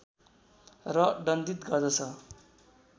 र दण्डित गर्दछ